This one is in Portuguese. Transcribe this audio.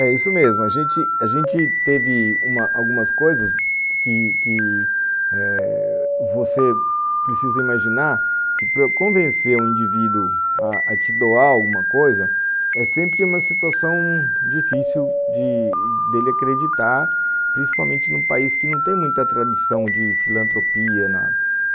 É isso mesmo, a gente a gente teve algumas coisas que que você precisa imaginar que para convencer um indivíduo a te doar alguma coisa, é sempre uma situação difícil de dele acreditar, principalmente num país que não tem muita tradição de filantropia na